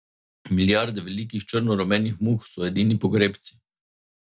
Milijarde velikih, črno rumenih muh so edini pogrebci.